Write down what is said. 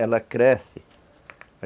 Ela cresce.